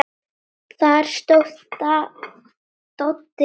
Þar stóð Doddi vel.